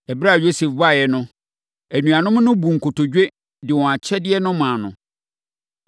Ɛberɛ a Yosef baeɛ no, anuanom no buu no nkotodwe, de wɔn akyɛdeɛ no maa no.